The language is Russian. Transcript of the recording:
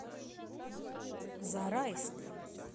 зарайск